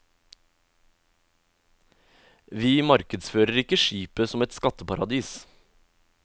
Vi markedsfører ikke skipet som et skatteparadis.